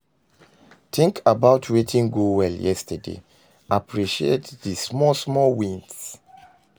Tink about wetin go well yestaday, appreciate di small small wins